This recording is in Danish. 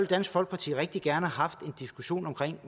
dansk folkeparti rigtig gerne have haft en diskussion om